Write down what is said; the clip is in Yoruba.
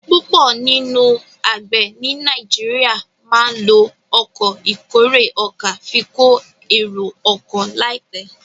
púpọ nínú àgbè ní Nàìjíríà má ló Ọkọ̀ ìkórè ọkà fí ko ero ọkọ̀ láìpé.